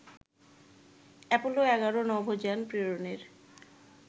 Apollo ১১ নভোযান প্রেরণের